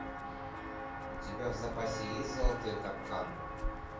у тебя в запасе есть золотой капкан